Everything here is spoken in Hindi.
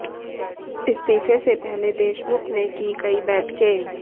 इस्तीफे से पहले देशमुख ने की कई बैठकें